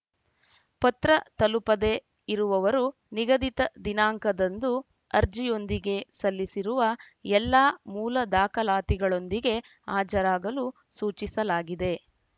ಪತ್ರ ತಲುಪದೇ ಇರುವವರು ನಿಗದಿತ ದಿನಾಂಕದಂದು ಅರ್ಜಿಯೊಂದಿಗೆ ಸಲ್ಲಿಸಿರುವ ಎಲ್ಲ ಮೂಲ ದಾಖಲಾತಿಗಳೊಂದಿಗೆ ಹಾಜರಾಗಲು ಸೂಚಿಸಲಾಗಿದೆ